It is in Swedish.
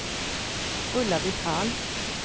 Ulla-Britt Hall